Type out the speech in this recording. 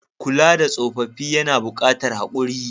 Kula da tsoffafi yAna bukatar hakuri